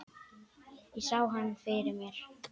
Ég sá hana fyrir mér.